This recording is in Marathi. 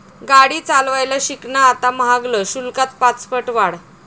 गाडी चालवायला शिकणं आता महागल, शुल्कात पाचपट वाढ